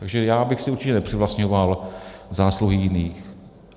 Takže já bych si určitě nepřivlastňoval zásluhy jiných.